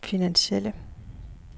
finansielle